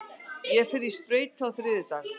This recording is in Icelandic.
Ég fer í sprautu á þriðjudag.